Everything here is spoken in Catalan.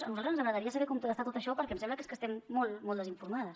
a nosaltres ens agradaria saber com està tot això perquè em sembla que és que estem molt molt desinformades